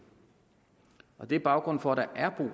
det er baggrunden for at der er